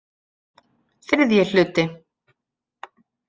ÞRIðJI HLUTI